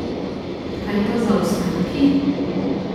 Kaj pa zaostanki?